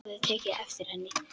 Hafði tekið eftir henni.